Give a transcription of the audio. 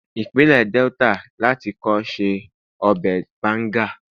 ipinle Delta lati kọ́ se ọbè banga